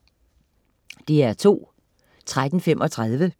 DR2: